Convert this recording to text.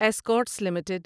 Escorts limited